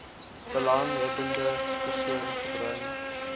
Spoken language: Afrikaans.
belanghebbende persoon gebring